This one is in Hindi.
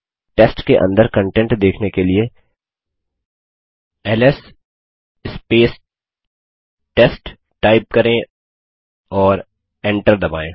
टेस्ट के अंदर कन्टेंट देखने के लिए एलएस टेस्ट टाइप करें और एंटर दबायें